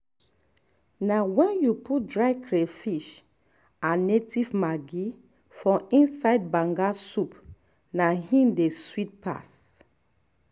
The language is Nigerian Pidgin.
na wen you put dry catfish and native maggi for inside banga soup na im e dey sweet pass